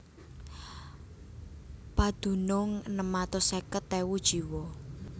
Padunung enem atus seket ewu jiwa